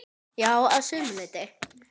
Já, að sumu leyti.